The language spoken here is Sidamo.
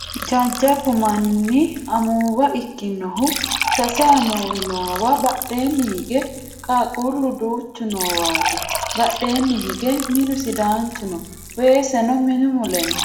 Jajjabbu manni amuwa ikkinohu sase amuwi noowa badheenni hige qaaqquullu duuchu noowaati badheenni hige minu sidaanchu no weeseno minu mule no